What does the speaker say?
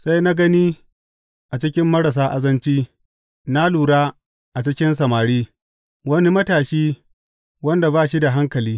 Sai na gani a cikin marasa azanci, na lura a cikin samari, wani matashi wanda ba shi da hankali.